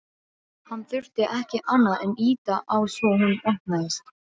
Hann þurfti ekki annað en ýta á svo hún opnaðist.